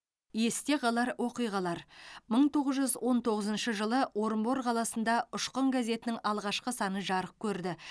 есте қалар оқиғалар мың тоғыз жүз он тоғызыншы жылы орынбор қаласында ұшқын газетінің алғашқы саны жарық көрді